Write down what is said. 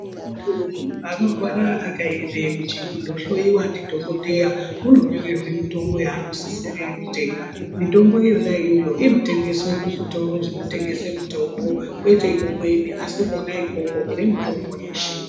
Muntu anorwara akaende kundohloiwa ndidhokodheya unonyorerwe mutombo yanosisira kutenga mitombo yonaiyoyo inotengeswa kuzvitoro zvinotengesa mitombo kwete kumweni asi kona ikoko kune mutombo yeshe.